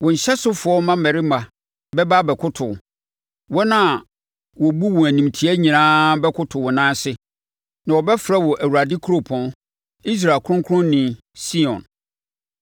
Wo nhyɛsofoɔ mmammarima bɛba abɛkoto wo; wɔn a wɔbu wo animtia nyinaa bɛkoto wo nan ase na wɔbɛfrɛ wo Awurade Kuropɔn, Israel Kronkronni, Sion.